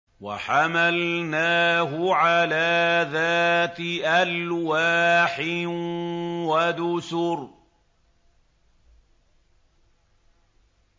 وَحَمَلْنَاهُ عَلَىٰ ذَاتِ أَلْوَاحٍ وَدُسُرٍ